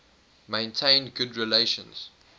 maintained good relations